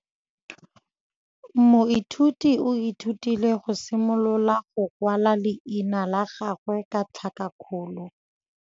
Moithuti o ithutile go simolola go kwala leina la gagwe ka tlhakakgolo.